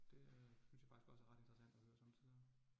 Det øh synes jeg faktisk også er ret interessant at høre somme tider